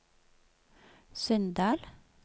Sunndal